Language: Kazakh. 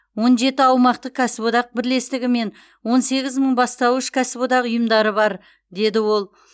он жеті аумақтық кәсіподақ бірлестігі мен он сегіз мың бастауыш кәсіподақ ұйымдары бар деді ол